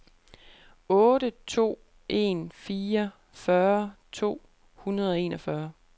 otte to en fire fyrre to hundrede og enogfyrre